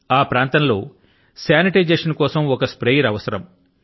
ఆ ప్రాంతం లో శానిటైజేశన్ కోసం ఒక స్ప్రేయర్ అవసరం